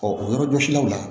o yɔrɔ jɔsilaw la